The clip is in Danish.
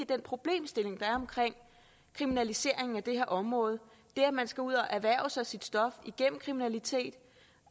den problemstilling der er omkring kriminaliseringen af det her område det at man skal ud at erhverve sig sit stof igennem kriminalitet